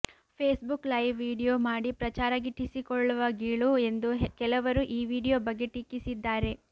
Facebook live video ಮಾಡಿ ಪ್ರಚಾರ ಗಿಟ್ಟಿಸಿಕೊಳ್ಳುವ ಗೀಳು ಎಂದು ಕೆಲವರು ಈ ವಿಡಿಯೊ ಬಗ್ಗೆ ಟೀಕಿಸಿದ್ದಾರೆ